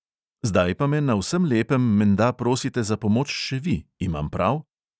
Zdaj pa me na vsem lepem menda prosite za pomoč še vi, imam prav?